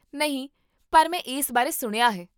ਨਹੀਂ, ਪਰ ਮੈਂ ਇਸ ਬਾਰੇ ਸੁਣਿਆ ਹੈ